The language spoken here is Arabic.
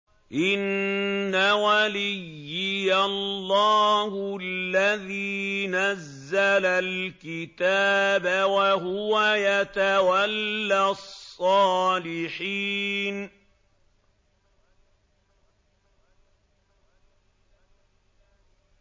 إِنَّ وَلِيِّيَ اللَّهُ الَّذِي نَزَّلَ الْكِتَابَ ۖ وَهُوَ يَتَوَلَّى الصَّالِحِينَ